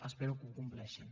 espero que ho compleixin